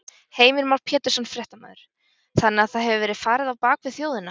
Heimir Már Pétursson, fréttamaður: Þannig að það hefur verið farið á bak við þjóðina?